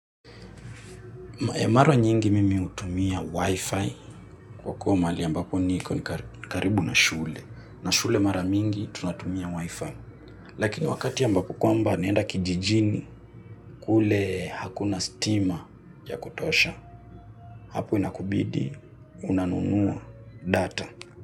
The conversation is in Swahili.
Mawa nyingi mimi hutumia wifi kwa kuwa mahali ambapo niko ni karibu na shule. Na shule mara mingi tunatumia wifi. Lakini wakati ambapo kwamba naenda kijijini kule hakuna stima ya kutosha. Hapo inakubidi unanunuwa data.